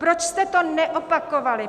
Proč jste to neopakovali?